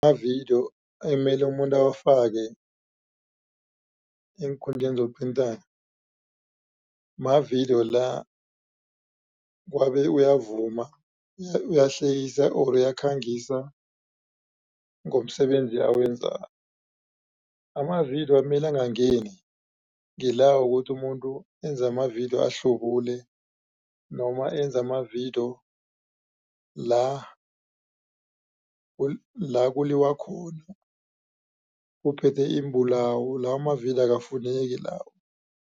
Amavidiyo emele umuntu awafake eenkundleni zokuthintana mavidiyo la kwabe uyavuma uyahlekisa or uyakhangisa ngomsebenzi awenzako. Amavidiyo amele angangeni ngila wokuthi umuntu enze amavidiyo ahlubule noma enze amavidiyo la la kuliwa khona kuphethwe iimbulawo lawo amavidiyo akufuneki lawo.